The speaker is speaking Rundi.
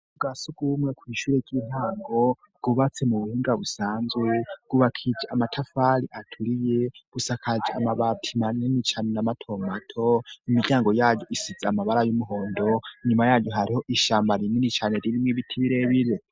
Bwa sugu bumwe kw'ishure ry'intango bwubatsi mu buhunga busanzwe gubakiji amatafali aturiye busakaje amabatima nini cane na matomato imiryango yayu isize amabara y'umuhondo inyuma yaju hariho ishamba rinini cane rirmwe bitibirebire.